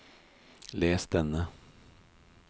les denne